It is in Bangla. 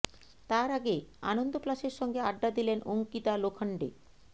তার আগে আনন্দ প্লাসের সঙ্গে আড্ডা দিলেন অঙ্কিতা লোখণ্ডে